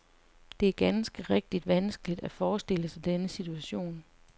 Det er ganske rigtigt vanskeligt at forestille sig denne situation.